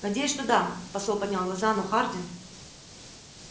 надеюсь что да посол поднял глаза но хардин